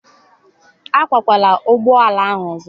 agbakwala ụgbọ ala ọzọ